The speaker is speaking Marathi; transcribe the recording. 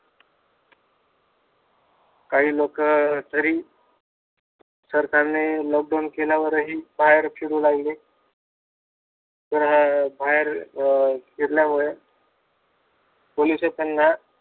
काही लोक तरी सरकारने लॉकडाउन केल्यावरही बाहेर फिरू लागली. अं बाहेर अं फिरल्या मुळे पोलीस त्यांना